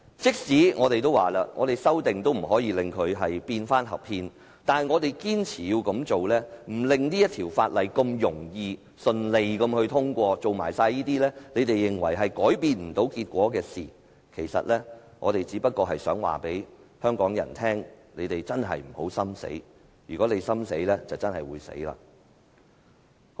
即使一如我們所說，我們提出修正案也無法令《條例草案》變得合憲，但我們仍堅持這樣做，不讓《條例草案》草率通過，繼續做他們認為無法改變結果的事情，其實我們只想告訴香港人真的不要心死，否則，香港便真的會死。